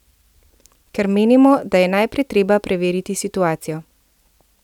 Ker menimo, da je najprej treba preveriti situacijo.